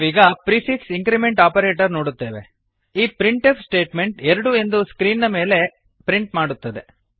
ನಾವೀಗ prefix increment operator ನೋಡುತ್ತೇವೆ ಈ ಪ್ರಿಂಟ್ ಎಫ್ ಸ್ಟೇಟ್ಮೆಂಟ್ ಎರಡು ಎಂದು ಸ್ಕ್ರೀನ್ ನ ಮೇಲೆ ಪ್ರಿಂಟ್ ಮಾಡುತ್ತದೆ